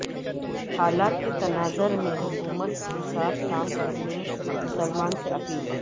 حالات کے تناظر میں حکمت کے ساتھ کام کرنے مسلمانوں سے اپیل